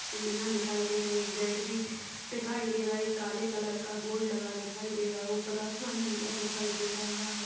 सिडिया दिखाई दे रही है गेट भी दिखाई दे रहा है एक काला कलर का बोर्ड दिखाई दे रहा है ऊपर आसमान नीला दिखाई दे रहा है।